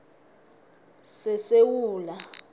sesewula